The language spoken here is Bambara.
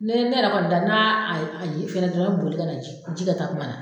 Ne ne yɛrɛ kɔni da n'aa a ye a ɲɛ fɛna dɔrɔn n be boli ka na ji ji kɛ kakuma na